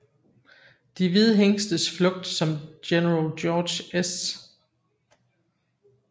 De hvide hingstes flugt som General George S